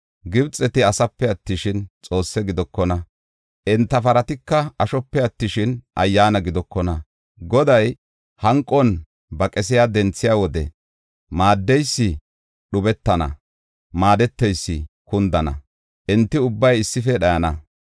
Gibxeti asepe attishin, xoosse gidokona; enta paratika ashope attishin, ayyaana gidokona. Goday hanqon ba qesiya denthiya wode maaddeysi dhubetana; maadeteysi kundana; enti ubbay issife dhayana.